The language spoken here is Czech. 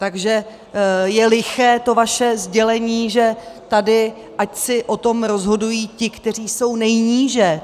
Takže je liché to vaše sdělení, že tady ať si o tom rozhodují ti, kteří jsou nejníže.